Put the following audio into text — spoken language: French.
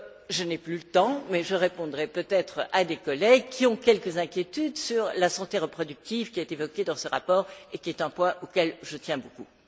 Je n'ai plus le temps mais je répondrai peut être à des collègues qui ont quelques inquiétudes sur la santé reproductive qui est évoquée dans ce rapport et qui est un point auquel je tiens beaucoup.